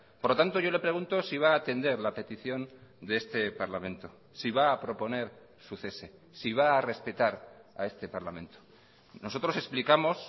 por lo tanto yo le pregunto si va a atender la petición de este parlamento si va a proponer su cese si va a respetar a este parlamento nosotros explicamos